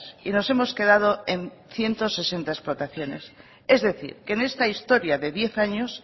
y nos hemos quedado en ciento sesenta explotaciones es decir que en esta historia de diez años